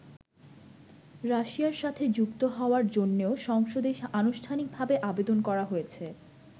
রাশিয়ার সাথে যুক্ত হওয়ার জন্যেও সংসদে আনুষ্ঠানিকভাবে আবেদন করা হয়েছে।